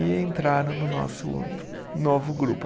E entraram no nosso novo grupo.